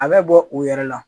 A bɛ bɔ u yɛrɛ la.